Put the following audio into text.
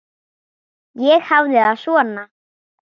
Ég hafði það svona.